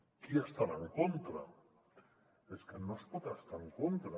qui hi estarà en contra és que no s’hi pot estar en contra